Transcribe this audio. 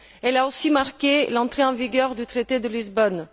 Elle a aussi marqué l'entrée en vigueur du traité de Lisbonne.